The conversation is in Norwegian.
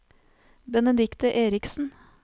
Benedicte Eriksen